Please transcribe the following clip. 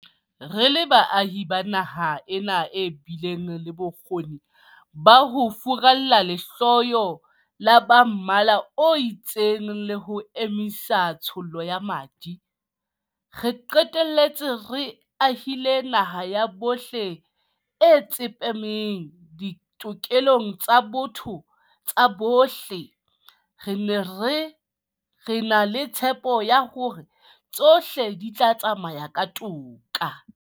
Re le baahi ba naha ena e bileng le bokgoni ba ho furalla lehloyo la ba mmala o itseng le ho emisa tshollo ya madi, ra qetella re ahile naha ya bohle e tsepameng ditokelong tsa botho tsa bohle, re na le tshepo ya hore